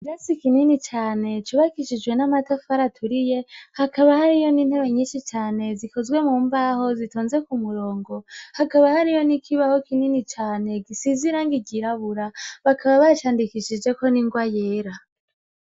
Metsi ikinini cane cu bakishijwe n'amatafu araturiye hakaba hariyo n'intere nyinshi cane zikozwe mu mbaho zitonze ku murongo hakaba hariyo nikibaho kinini cane gisizirangigirabura bakaba bacandikishijeko ningoa yera.